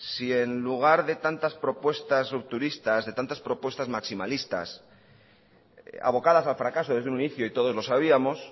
si en lugar de tantas propuestas rupturistas de tantas propuestas maximalistas abocadas al fracaso desde un inicio y todos los sabíamos